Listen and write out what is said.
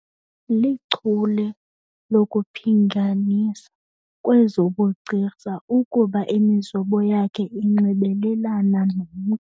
Lichule lokuphinganisa kwezobugcisa ukuba imizobo yakhe inxibelelana nomntu.